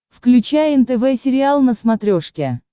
включай нтв сериал на смотрешке